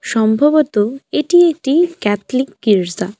সম্ভবত এটি একটি ক্যাথলিক গির্জা।